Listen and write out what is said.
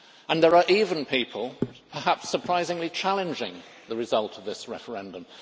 There are even people perhaps surprisingly challenging the result of this referendum.